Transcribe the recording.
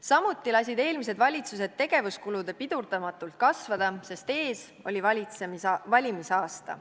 Samuti lasid eelmised valitsused tegevuskuludel pidurdamatult kasvada, sest ees oli valimisaasta.